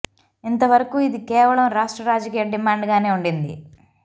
ఇంతవరకు ఇది కేవలం రాష్ట్ర రాజకీయ డిమాండ్ గానే ఉండింది